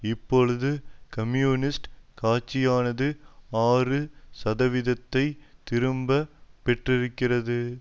இப்பொழுது கம்யூனிஸ்ட் கட்சியானது ஆறு சதவீதத்தை திரும்ப பெற்றிருக்கிறது